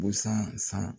Busan san